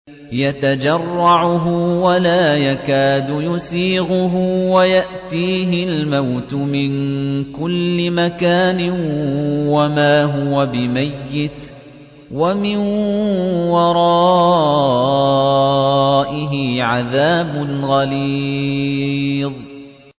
يَتَجَرَّعُهُ وَلَا يَكَادُ يُسِيغُهُ وَيَأْتِيهِ الْمَوْتُ مِن كُلِّ مَكَانٍ وَمَا هُوَ بِمَيِّتٍ ۖ وَمِن وَرَائِهِ عَذَابٌ غَلِيظٌ